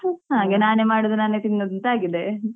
ಹಾಗೆ ನಾನೆ ಮಾಡುದು ನಾನೆ ತಿನ್ನುದು ಅಂತ ಆಗಿದೆ.